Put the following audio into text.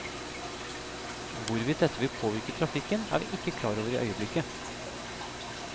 Hvorvidt dette vil påvirke trafikken, er vi ikke klar over i øyeblikket.